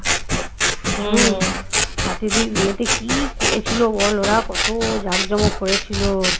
সাথী দিদির বিয়েতে কি করেছিল বল ওরা? কত জাযযমক করেছিল